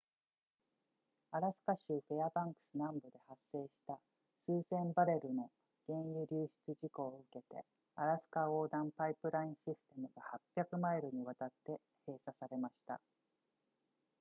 アラスカ州フェアバンクス南部で発生した数千バレルの原油流出事故を受けてアラスカ横断パイプラインシステムが800マイルにわたって閉鎖されました